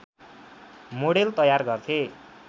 model तयार गर्थे